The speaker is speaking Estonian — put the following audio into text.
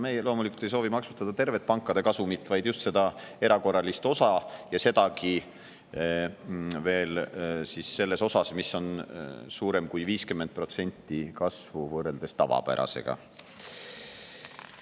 Me loomulikult ei soovi maksustada tervet pankade kasumit, vaid just erakorralist, ja osa, mis 50%‑list kasvu võrreldes tavapärasega.